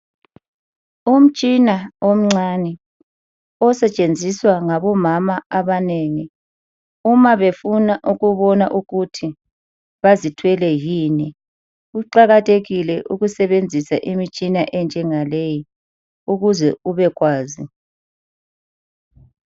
Umtshina omncane osetshenziswa ngabomama abanengi uma befuna ukubona ukuthi bazithwele yini. Kuqakathekile ukusebenzisa imtshina enjengaleyi ukuze ubekwazi.